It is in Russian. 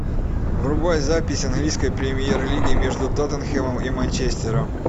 врубай запись английской премьер лиги между тоттенхэмом и манчестером